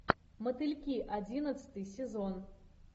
мотыльки одиннадцатый сезон